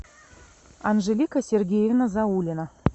анжелика сергеевна заулина